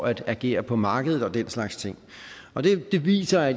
at agere på markedet og den slags ting det viser